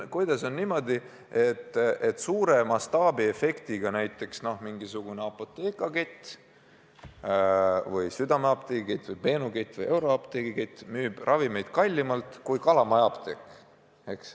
Kuidas on niimoodi, et suure mastaabiefektiga Apotheka kett või Südameapteegi kett või Benu kett või Euroapteegi kett müüb ravimeid kallimalt kui Kalamaja apteek?